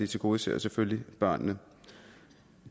tilgodeser selvfølgelig børnene